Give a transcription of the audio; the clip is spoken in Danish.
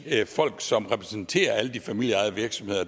folk som repræsenterer alle de familieejede virksomheder